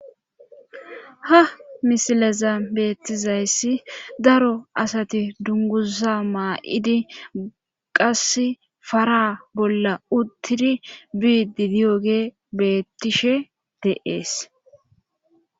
Ha misileza beettizayssi daro asati dungusa maa7idi qas fara bolla uttidi biidi diyoge bettishe deees